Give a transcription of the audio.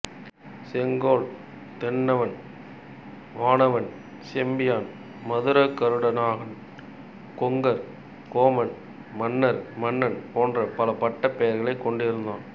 செங்கோல் தென்னன் வானவன் செம்பியன் மதுரகருநாடகன் கொங்கர் கோமான் மன்னர் மன்னன் போன்ற பல பட்டப் பெயர்களைக் கொண்டிருந்தான்